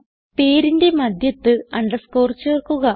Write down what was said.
പേരിന്റെ മധ്യത്ത് അണ്ടർസ്കോർ ചേർക്കുക